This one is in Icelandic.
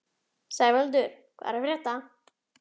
Sævaldur, hvað er að frétta?